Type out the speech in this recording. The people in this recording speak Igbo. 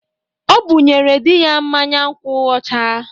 O bụnyere di ya mmanya nkwu ọcha.